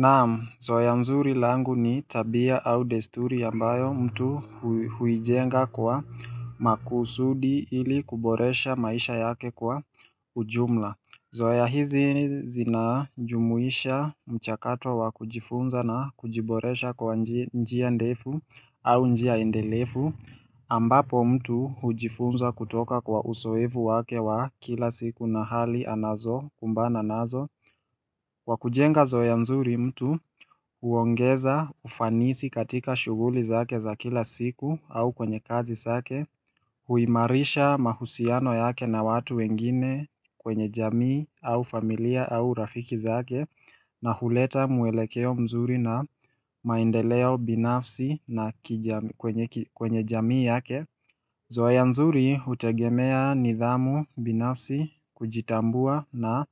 Naam, zoea nzuri langu ni tabia au desturi ambayo mtu huijenga kwa makusudi ili kuboresha maisha yake kwa ujumla Zoeya hizi zinajumuisha mchakato wa kujifunza na kujiboresha kwa njia ndefu au njia endelefu ambapo mtu hujifunza kutoka kwa usoevu wake wa kila siku na hali anazo kumbana anazo Wakujenga zoea nzuri mtu huongeza ufanisi katika shuguli zake za kila siku au kwenye kazi zake huimarisha mahusiano yake na watu wengine kwenye jamii au familia au rafiki zake na huleta mwelekeo mzuri na maendeleo binafsi na kwenye jamii yake Zoeya nzuri utegemea nidhamu binafsi kujitambua na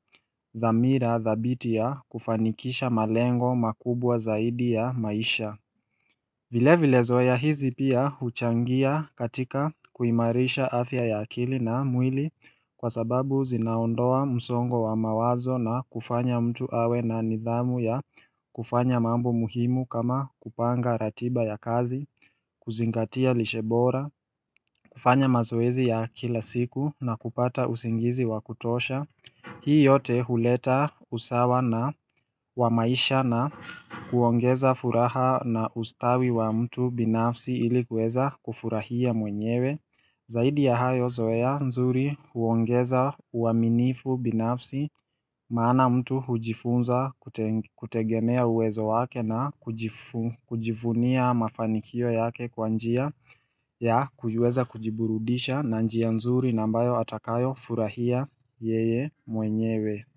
dhamira dhabitia ya kufanikisha malengo makubwa zaidi ya maisha vile vile zoeya hizi pia huchangia katika kuimarisha afya ya akili na mwili Kwa sababu zinaondoa msongo wa mawazo na kufanya mtu awe na nidhamu ya kufanya mambo muhimu kama kupanga ratiba ya kazi kuzingatia lishebora, kufanya mazoezi ya kila siku na kupata usingizi wa kutosha Hii yote huleta usawa na wa maisha na kuongeza furaha na ustawi wa mtu binafsi ili kuweza kufurahia mwenyewe Zaidi ya hayo zoeya nzuri huongeza uaminifu binafsi Maana mtu hujifunza kutegemea uwezo wake na kujivunia mafanikio yake kwa njia ya kujueza kujiburudisha na njia nzuri na ambayo atakayo furahia yeye mwenyewe.